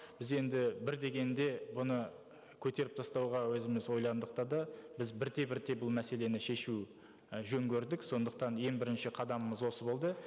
біз енді бір дегенде бұны көтеріп тастауға өзіміз ойландық та да біз бірте бірте бұл мәселені шешу і жөн көрдік сондықтан ең бірінші қадамымыз осы болды